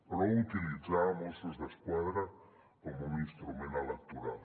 prou utilitzar mossos d’esquadra com un instrument electoral